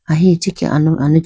ahi ichikhi ah alo aluchi.